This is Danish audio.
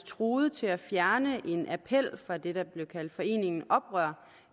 truet til at fjerne en appel fra det der blev kaldt foreningen oprør